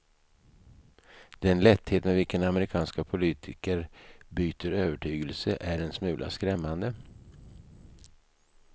Den lätthet med vilken amerikanska politiker byter övertygelser är en smula skrämmande.